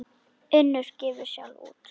Unnur gefur sjálf út.